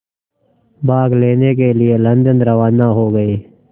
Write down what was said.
भाग लेने के लिए लंदन रवाना हो गए